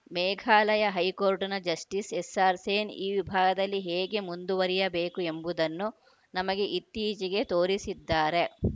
ಮೇಘಾಲಯ ಹೈಕೋರ್ಟ್‌ನ ಜಸ್ಟಿಸ್‌ ಎಸ್‌ಆರ್‌ಸೇನ್‌ ಈ ವಿಭಾಗದಲ್ಲಿ ಹೇಗೆ ಮುಂದುವರಿಯಬೇಕು ಎಂಬುದನ್ನು ನಮಗೆ ಇತ್ತೀಚೆಗೆ ತೋರಿಸಿದ್ದಾರೆ